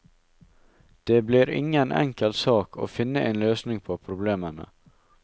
Det blir ingen enkel sak å finne en løsning på problemene.